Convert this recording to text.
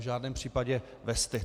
V žádném případě vesty.